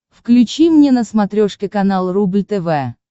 включи мне на смотрешке канал рубль тв